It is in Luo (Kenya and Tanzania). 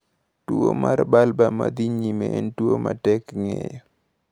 Tuwo mar bulbar ma dhi nyime en tuwo ma tek ng’eyo.